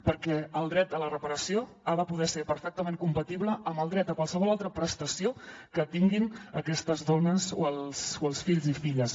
perquè el dret a la reparació ha de poder ser perfectament compatible amb el dret a qualsevol altra prestació que tinguin aquestes dones o els fills i filles